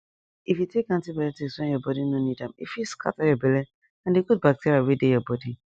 if you take antibiotics when your body no need am e fit scatter your belle and the good bacteria wey dey your bodi